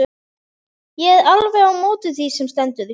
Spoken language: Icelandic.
Ég er alveg á móti því sem stendur.